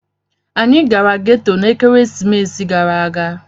anyi gara geto na ekeresimesi gara aga.